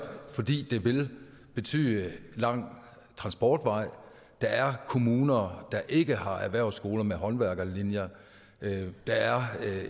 fordi det vil betyde lang transportvej der er kommuner der ikke har erhvervsskoler med håndværkerlinjer der er